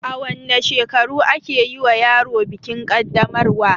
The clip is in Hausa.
A wanne shekaru ake yiwa yaro bikin kaddamarwa?